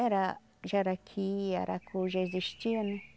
Era jaraqui, aracu, já existia, né?